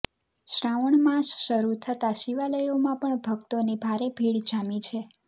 શ્રાવણ માસ શરૃ થતાં શિવાલયોમાં પણ ભક્તોની ભારે ભીડ જામી છે